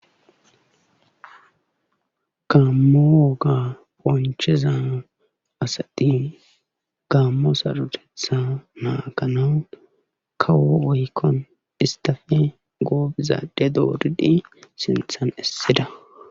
Gaammo woga qoncciza asati gaammo sarrotethaa naaganaw kawo oykon isttafe gooobiza adde dooridi sinthan essida.